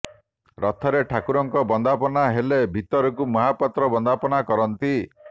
ରଥରେ ଠାକୁରଙ୍କ ବନ୍ଦାପନା ହେଲେ ଭିତରକୁ ମହାପାତ୍ର ବନ୍ଦାପନା କରନ୍ତି